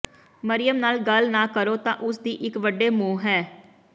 ਮਰਿਯਮ ਨਾਲ ਗੱਲ ਨਾ ਕਰੋ ਤਾਂ ਉਸਦੀ ਇੱਕ ਵੱਡੇ ਮੂੰਹ ਹੈ